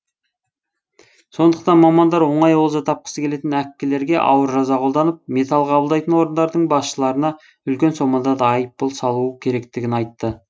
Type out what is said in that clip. сондықтан мамандар оңай олжа тапқысы келетін әккілерге ауыр жаза қолданып металл қабылдайтын орындардың басшыларына үлкен сомада айыппұл салу керектігін айтты